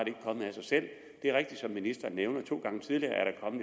sig selv det er rigtigt som ministeren nævner to gange tidligere